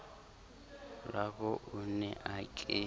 labo o ne a ke